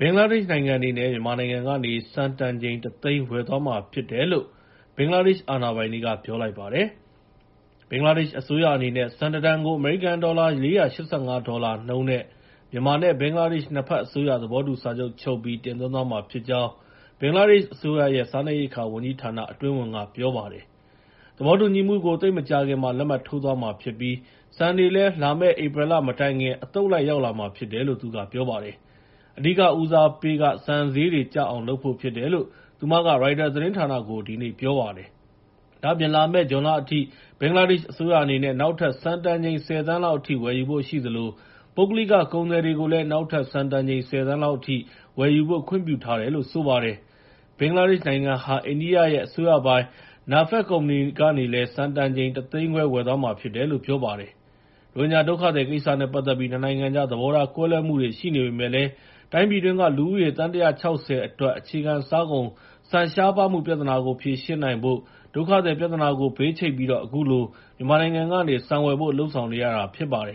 ဘင်္ဂလားဒေ့ရှ်နိုင်ငံအနေနဲ့ မြန်မာနိုင်ငံကနေ ဆန်တန်ချိန် ၁ သိန်း ဝယ်သွားမှာဖြစ်တယ်လို့ ဘင်္ဂလားဒေ့ရှ် အာဏာပိုင်တွေက ပြောလိုက်ပါတယ်။ ဘင်္ဂလားဒေ့ရှ်အစိုးရ အနေနဲ့ ဆန် ၁ တန်ကို အမေရိကန်ဒေါ်လာ ၄၈၅ ဒေါ်လာနှုန်းနဲ့ မြန်မာနဲ့ ဘင်္ဂလားဒေ့ရှ် နှစ်ဖက်အစိုးရ သဘောတူစာချုပ် ချုပ်ပြီး တင်သွင်းသွားမှာဖြစ်ကြောင်း ဘင်္ဂလားဒေ့ရှ်အစိုးရရဲ့ စားနပ်ရိက္ခာဝန်ကြီးဌာန အတွင်းဝန်က ပြောပါတယ်။ သဘောတူညီမှုကို သိပ်မကြာခင်မှာ လက်မှတ်ထိုးသွားမှာဖြစ်ပြီး ဆန်တွေလည်း လာမယ့် ဧပြီလမတိုင်ခင် အသုတ်လိုက် ရောက်လာမှာဖြစ်တယ်လို့ သူကပြောပါတယ်။ အဓိကဦးစားပေးက ဆန်ဈေးတွေကျအောင်လုပ်ဖို့ ဖြစ်တယ်လို့ သူမက ရိုက်တာသတင်းဌာနကို ဒီနေ့ပြောပါတယ်။ ဒါ့အပြင် လာမယ့် ဇွန်လအထိ ဘင်္ဂလားဒေ့ရှ်အစိုးရ အနေနဲ့ နောက်ထပ်ဆန်တန်ချိန် ၁၀ သန်းလောက်အထိ ဝယ်ယူဖို့ရှိသလို ပုဂ္ဂလိက ကုန်သည်တွေကိုလည်း နောက်ထပ် ဆန်တန်ချိန် ၁၀ သန်းလောက်အထိ ဝယ်ယူဖို့ ခွင့်ပြုထားတယ်လို့ ဆိုပါတယ်။ ဒါ့အပြင် ဘင်္ဂလားဒေ့ရှ်နိုင်ငံဟာ အိန္ဒိယနိုင်ငံရဲ့ အစိုးရပိုင် NAFED ကုမ္ပဏီကနေလည်း ဆန်တန်ချိန် ၁ သိန်းခွဲ ဝယ်သွားမှာဖြစ်တယ်လို့ ပြောပါတယ်။ ရိုဟင်ဂျာဒုက္ခသည်ကိစ္စနဲ့ ပတ်သက်ပြီး ၂ နိုင်ငံကြား သဘောထား ကွဲလွဲမှုတွေ ရှိနေပေမယ့်လည်း တိုင်းပြည်တွင်းက လူဦးရေ သန်း ၁၆၀ အတွက် အခြေခံစားကုန် ဆန်ရှားပါးမှုပြဿနာကို ဖြေရှင်းနိုင်ဖို့ ဒုက္ခသည်ပြဿနာကို ဘေးချိတ်ပြီး အခုလို မြန်မာနိုင်ငံကနေ ဆန်ဝယ်ဖို့ လုပ်ဆောင်နေရတာပါ။ ၂၀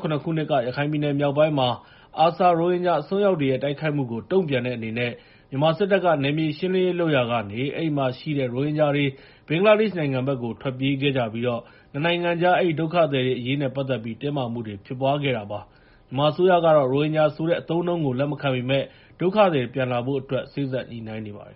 ၁၇ ခုနှစ်က ရခိုင်ပြည်နယ်မြောက်ပိုင်းမှာ ARSA ရိုဟင်ဂျာအစွန်းရောက်တွေရဲ့ တိုက်ခိုက်မှုကို တုံ့ပြန်တဲ့အနေနဲ့ မြန်မာစစ်တပ်က နယ်မြေရှင်းလင်းရေး လုပ်ရာကနေ အဲဒီမှာရှိတဲ့ ရိုဟင်ဂျာတွေ ဘင်္ဂလားဒေ့ရှ်နိုင်ငံဘက်ကို ထွက်ပြေးခဲ့ကြပြီး ၂ နိုင်ငံကြား အဲဒီဒုက္ခသည်အရေးနဲ့ ပတ်သက်ပြီး တင်းမာမှုတွေ ဖြစ်ပွားခဲ့တာပါ။ မြန်မာအစိုးရကတော့ ရိုဟင်ဂျာဆိုတဲ့ အသုံးအနှုန်းကို လက်မခံပေမယ့် ဒုက္ခသည်တွေ ပြန်လာနိုင်ရေးအတွက် စေ့စပ်ညှိနှိုင်းနေပါတယ်